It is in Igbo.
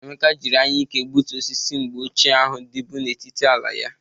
Emeka jiri anyịke gbuto osisi mgbe ochie ahụ dịbụ n'etiti ala ya